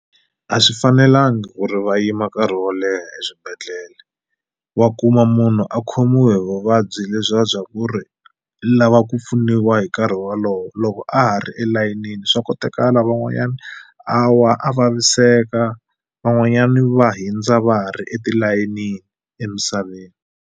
A swi fanelanga ku ri va yima nkarhi wo leha eswibedhlele wa kuma munhu a khomiwe hi vuvabyi lebyiya bya ku ri lava ku pfuniwa hi nkarhi wa walowo loko a ha ri eleyinini swa kotekala van'wanyani a wa a vaviseka van'wanyani va hindza va ha ri etilayenini emisaveni.